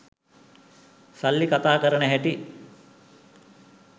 සල්ලි කතා කරන හැටි.